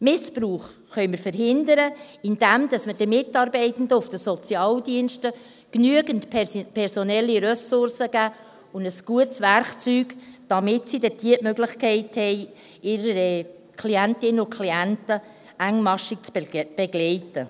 Missbrauch können wir verhindern, indem wir den Mitarbeitenden auf den Sozialdiensten genügend personelle Ressourcen und ein gutes Werkzeug geben, damit sie dort die Möglichkeit haben, ihre Klientinnen und Klienten engmaschig zu begleiten.